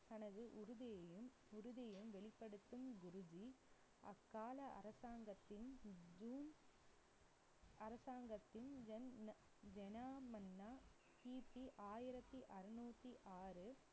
தனது உறுதியையும் உறுதியையும் வெளிப்படுத்தும் குருஜி, அக்கால அரசாங்கத்தின் அரசாங்கத்தின் கிபி ஆயிரத்தி அறுநூத்தி ஆறு